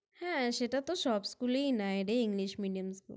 হ্যাঁ! সেটা তো সব School -এই নেয় রে English Medium